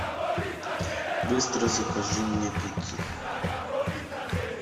быстро закажи мне пиццы